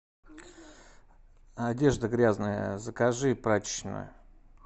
одежда грязная закажи прачечную